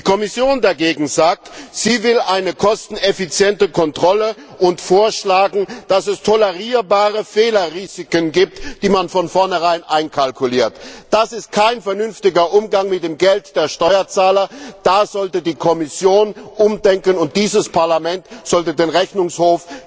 Die Kommission dagegen sagt, dass sie eine kosteneffiziente Kontrolle und vorschlagen will, dass es tolerierbare Fehlerrisiken gibt, die man von vornherein einkalkuliert. Das ist kein vernünftiger Umgang mit dem Geld der Steuerzahler! Da sollte die Kommission umdenken, und dieses Parlament sollte den Rechnungshof in seiner kritischen Arbeit unterstützen.